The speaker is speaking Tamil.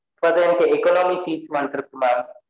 But எனக்கு economic seats mam இருக்குமா